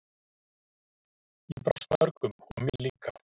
Ég brást mörgum og mér líka.